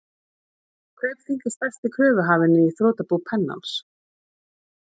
Kaupþing er stærsti kröfuhafinn í þrotabú Pennans.